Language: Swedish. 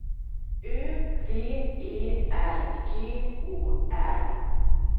Ö V E R G Å R